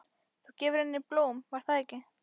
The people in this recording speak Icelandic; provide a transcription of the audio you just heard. Þú hefur gefið henni blóm, var það ekki?